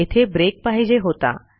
येथे ब्रेक पाहिजे होता